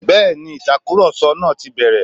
Bẹ́ẹ̀ni, Ìtàkùrọ̀sọ náà ti bẹ̀rẹ̀